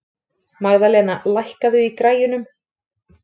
Magðalena, lækkaðu í græjunum.